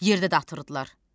Yerdə də atırdılar.